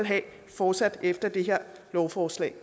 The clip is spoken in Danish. fortsat efter at det her lovforslag